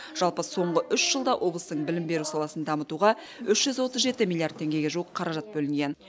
жалпы соңғы үш жылда облыстың білім беру саласын дамытуға үш жүз отыз жеті миллиард теңгеге жуық қаражат бөлінген